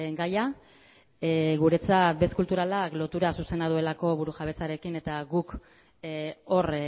gaia guretzat bez kulturalak lotura zuzena duelako burujabetzarekin eta